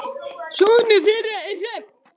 Sonur þeirra er Hrafn.